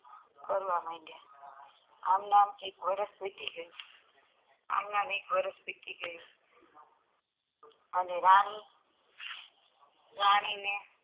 કરવા મંડીયા આમનામ એક વર્ષ વીતી ગયું અને રાની રાની ને